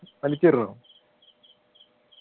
വലിച്ചെറിഞ്ഞോ